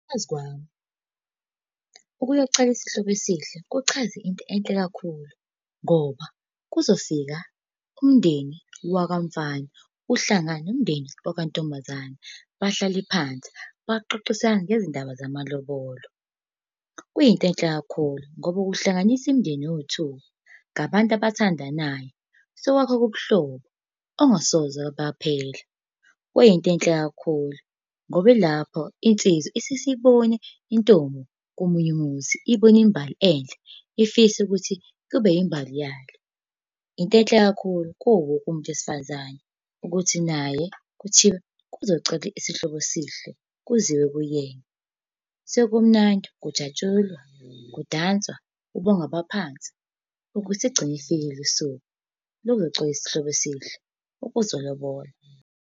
Ngokwazi kwami, ukuyocela isihlobo esihle kuchaza into enhle kakhulu, ngoba kuzofika umndeni wakamfana, uhlangane nomndeni wakantombazane, bahlale phansi baxoxisane ngezindaba zamalobolo. Kuyinto enhle kakhulu, ngoba ukuhlanganisa imindeni yowu-two ngabantu abathandanayo sokwakha ubuhlobo obungasoze baphehla. Kuyinto enhle kakhulu, ngoba ilapho insizwa isuke isibone intombi komunye umuzi, ibone imbali enhle, ifise ukuthi kube yimbali yayo. Into enhle kakhulu kuwo wonke umuntu wesifazane ukuthi naye kuthiwa kuzocelwa isihlobo esihle kuziwe kuyena sekumnandi kujatshulwa kudanswa. Ubonge abaphansi ukuthi selugcine lufikile usuku lokuzocela isihlobo esihle, lokuzolobola.